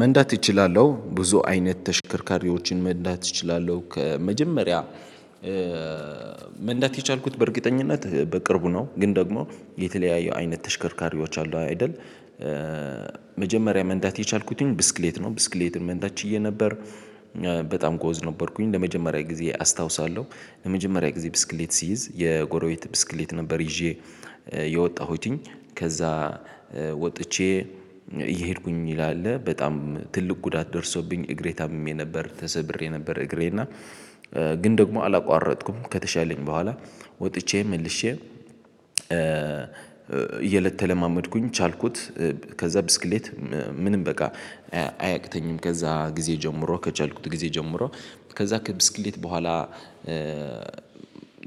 መንዳት እችላለሁ ብዙ አይነት ተሽከርካሪዎችን መንዳት እችላለሁ ከመጀመሪያ መንዳት የቻልኩት በእርግጠኝነት በቅርቡ ነው። ግን ደግሞ የተለያየ አይነት ተሽከርካሪዎች አሉ አይደል? መጀመሪያ መንዳት የቻልኩትን ብስክሌት ነው ብስክሌትን መንዳት ችዬ ነበር። በጣም ጎበዝ ነበርኩኝ ለመጀመሪያ ጊዜ አስታውሳለሁ ለመጀመሪያ ጊዜ ብስክሌት ሲይዝ የጎሮቢት ብስክሌት ነበር ይዤ የወጣሁትኝ ከዛ ወጥቼ እየሄድኩኝ ይላል አለ በጣም ትልቅ ጉዳት ደርሶብኝ እግሬ ታምሜ ነበር ተሰብሬ ነበር። እግሬና ግን ደግሞ አላቋረጥኩም ከተሻለኝ በኋላ ወጥቼ መልሼ እየለተለማመድኩኝ ቻልኩት። ከዛ ብስክሌት ምንም በቃ አያቅተኝም ከዛ ጊዜ ጀምሮ ከቻልኩት ጊዜ ጀምሮ ከዛ ከብስክሌት በኋላ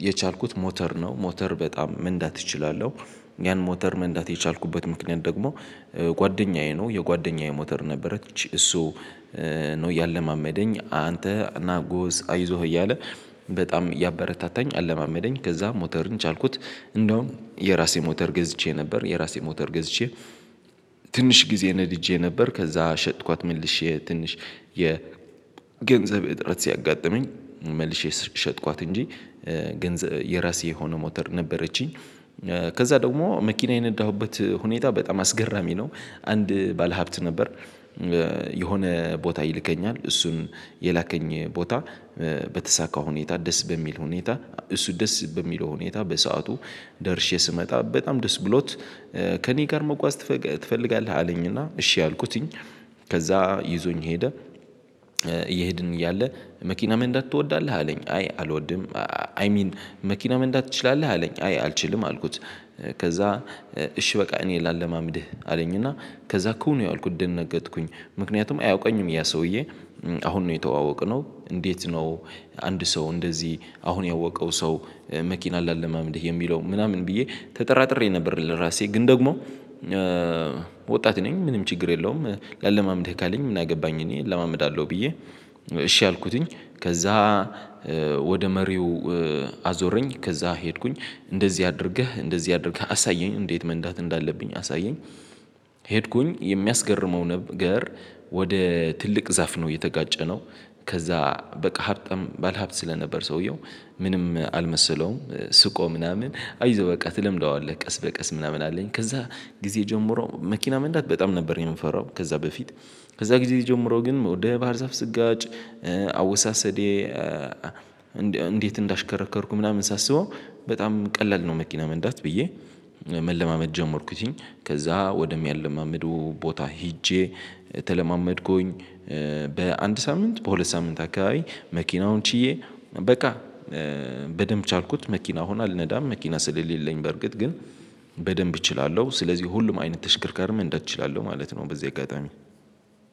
የቻልኩት ሞተር ነው። ሞተር በጣም መንዳት እችላለሁ። ያን ሞተር መንዳት የቻልኩበት ምክንያት ደግሞ ጓደኛዬ ነው። የጓደኛዬ ሞተር ነበረች እሱ ነው ያለማመደኝ አንተ ናጎስ አይዞህ እያለ በጣም እያበረታታኝ አለማመደኝ ከዛ ሞተርን ቻልኩት። እንደውም የራሴ ሞተር ገዝቼ ነበር የራሴ ሞተር ገዝቼ ትንሽ ጊዜ ነድጄ ነበር። ከዛ ሸጥኳት መልሼ ትንሽ የ ገንዘብ እጥረት ሲያጋጥመኝ መልሼ ሽጥቋት እንጂ ገንዘብ የራሴ የሆነ ሞተር ነበረችኝ። ከዛ ደግሞ መኪና የነዳሁበት ሁኔታ በጣም አስገራሚ ነው። አንድ ባለሀብት ነበር የሆነ ቦታ ይልከኛል እሱም የላከኝ ቦታ በተሳካ ሁኔታ ደስ በሚል ሁኔታ እሱ ደስ በሚለው ሁኔታ በሰአቱ ደርሼ ስመጣ በጣም ደስ ብሎት ከእኔ ጋር መጓዝ ትፈልጋለህ አለኝና እሺ አልኩትኝ። ከዛ ይዞኝ ሄደ። እየሄድን እያለ መኪና መንዳት ትወዳለህ አለኝ አይ አልወድም። አይ ሚን መኪና መንዳት ትችላለህ አለኝ አይ አልችልም አልኩት። ከዛ እሺ በቃ እኔ ላለማምድህ አለኝ እና ከዛ እኮ ነው ያልኩት ደነገጥኩኝ ምክንያቱም አያውቀኝም ያ ሰውዬ አሁን ነው የተዋወቅነው። እንዴት ነው? አንድ ሰው እንደዚህ አሁን ያወቀው ሰው መኪና ላለማምድህ የሚለው ምናምን ብዬ ተጠራጥሬ ነበር ለራሴ ግን ደግሞ ወጣት ነኝ ምንም ችግር የለውም። ላለማመድህ ካለኝ ምን አገባኝ እኔ እለማመዳለሁ ብዬ እሺ አልኩትኝ። ከዛ ወደ መሪው አዞረኝ ከዛ ሄድኩኝ እንደዚህ አድርገህ እንደዚህ አድርገህ አሳየኝ እንዴት መንዳት እንዳለብኝ አሳየኝ። ሄድኩኝ የሚያስገርመው ነገር ወደ ትልቅ ዛፍ ነው የተጋጨነው። ከዛ በቃ ሀብታም ባለሀብት ስለነበር ሰውየው ምንም አልመሰለውም ስቆ ምናምን አይዞህ በቃ ትለምደዋለህ ቀስ በቀስ ምናምን አለኝ። ከዛ ጊዜ ጀምሮ መኪና መንዳት በጣም ነበር። የምንፈራው ከዛ በፊት ከዛ ጊዜ ጀምሮ ግን ወደ ባህር ዛፍ ስጋጭ አወሳሰዴ እንዴት እንዳሽከረከርኩ ምናምን ሳስበው በጣም ቀላል ነው። መኪና መንዳት ብዬ መለማመድ ጀመርኩትኝ ከዛ ወደሚያለማምደው ቦታ ሄጄ ተለማመድኩኝ። በአንድ ሳምንት በሁለት ሳምንት አካባቢ መኪናውን ችዬ በቃ በደንብ ቻልኩት መኪና አሁን አልነዳም መኪና ስለሌለኝ በርግጥ ግን በደንብ እችላለሁ። ስለዚህ ሁሉም አይነት ተሽከርካሪም መንዳት እችላለሁ ማለት ነው። በዚህ አጋጣሚ